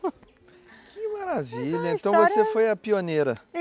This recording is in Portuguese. Que maravilha, então você foi a pioneira.